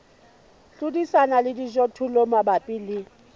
hlodisana le dijothollo mabapi le